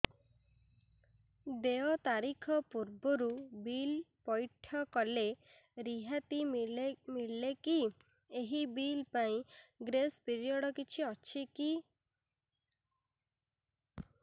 ଦେୟ ତାରିଖ ପୂର୍ବରୁ ବିଲ୍ ପୈଠ କଲେ ରିହାତି ମିଲେକି ଏହି ବିଲ୍ ପାଇଁ ଗ୍ରେସ୍ ପିରିୟଡ଼ କିଛି ଅଛିକି